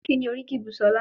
Kíni oríkì Busola?